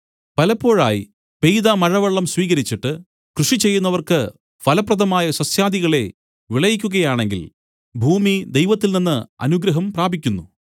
പലപ്പോഴായി പെയ്ത മഴവെള്ളം സ്വീകരിച്ചിട്ട് കൃഷി ചെയ്യുന്നവർക്ക് ഫലപ്രദമായ സസ്യാദികളെ വിളയിക്കുകയാണെങ്കിൽ ഭൂമി ദൈവത്തിൽനിന്ന് അനുഗ്രഹം പ്രാപിക്കുന്നു